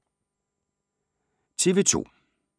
TV 2